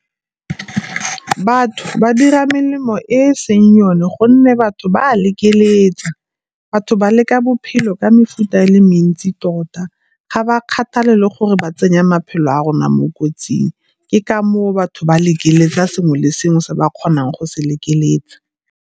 Batho ba dira melemo e e seng yone gonne batho ba a lekeletsa. Batho ba leka bophelo ka mefuta e le mentsi tota, ga ba kgathale le gore ba tsenya maphelo a rona mo kotsing ke ka moo batho ba lekeletsang sengwe le sengwe se ba kgonang go se lekeletsa.